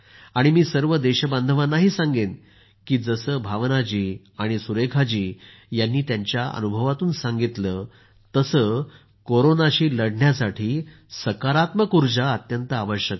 मी सर्व देशबांधवांनाही आग्रह करेन की जसं भावना जी सुरेखा जी यांनी त्यांच्या अनुभवातून सांगितलं आहे तसं कोरोनाशी लढण्यासाठी सकारात्मक उर्जा अत्यंत आवश्यक आहे